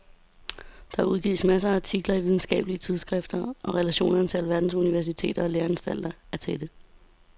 Der udgives masser af artikler i videnskabelige tidsskrifter og relationerne til alverdens universiteter og læreanstalter er tætte.